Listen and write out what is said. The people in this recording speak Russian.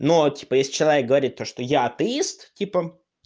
но вот типа если человек говорит то что я атеист типа